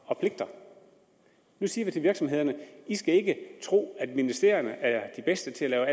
og pligter nu siger vi til virksomhederne i skal ikke tro at ministerierne er de bedste til at lave